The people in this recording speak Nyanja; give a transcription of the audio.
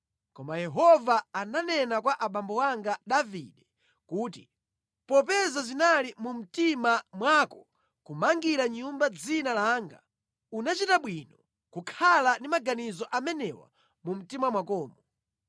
Koma Yehova ananena kwa abambo anga Davide kuti, ‘Popeza zinali mu mtima mwako kumangira Nyumba dzina langa, unachita bwino kukhala ndi maganizo amenewa mu mtima mwakomo.